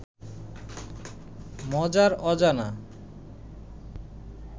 মজার অজানা